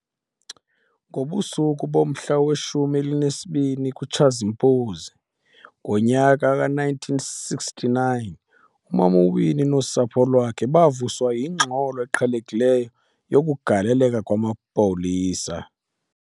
Ngobusuku bomhla we-12 kuTshazimpuzi ngonyaka we-1969, uMam'Winnie nosapho lwakhe bavuswa yingxolo eqhelekileyo yokugaleleka kwamapolisa.